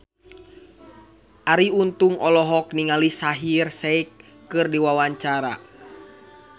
Arie Untung olohok ningali Shaheer Sheikh keur diwawancara